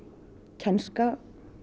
kænsla líka